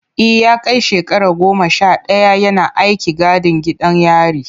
E, ya kai shekara goma sha daya yana aikin gadin gidan yari.